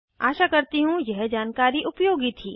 आशा करती हूँ यह जानकारी उपयोगी थी